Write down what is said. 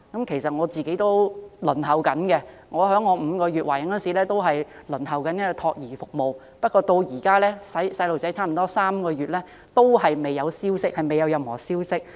其實，我個人也正在輪候服務，我在懷孕5個月時已開始輪候託兒服務，但我的孩子現已出世約3個月，至今仍未有任何消息。